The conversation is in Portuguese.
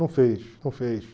Não fez, não fez.